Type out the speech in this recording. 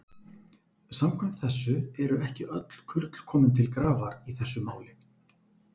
Samkvæmt þessu eru ekki öll kurl komin til grafar í þessu máli.